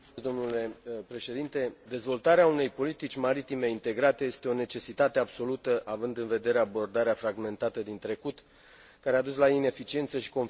Dezvoltarea unei politici maritime integrate este o necesitate absolută având în vedere abordarea fragmentată din trecut, care a dus la ineficiență și conflicte în cadrul acestui domeniu.